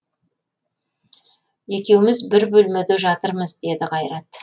екеуміз бір бөлмеде жатырмыз деді қайрат